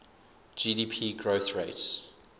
gdp growth rates